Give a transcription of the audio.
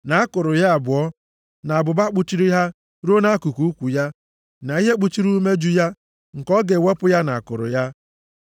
na akụrụ ya abụọ, na abụba kpuchiri ha ruo nʼakụkụ ukwu ya, na ihe kpuchiri umeju ya; nke ọ ga-ewepụ ya na akụrụ ya.